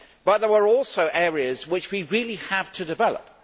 There are also areas which we really have to develop.